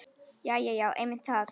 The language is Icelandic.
Jæja já, einmitt það.